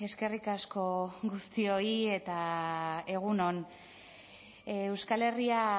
eskerrik asko guztioi eta egun on euskal herria